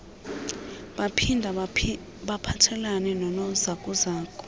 baphinda baphathelela nonozakuzaku